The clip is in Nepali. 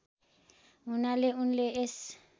हुनाले उनले यस